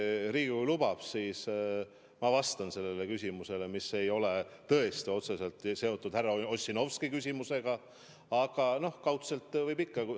Kui Riigikogu lubab, siis ma vastan sellele küsimusele, mis ei ole tõesti otseselt seotud härra Ossinovski küsimusega, aga no kaudselt võib ikka.